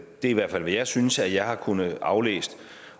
er i hvert fald hvad jeg synes at jeg har kunnet aflæse